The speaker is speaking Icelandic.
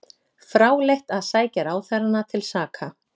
Fráleitt að sækja ráðherrana til saka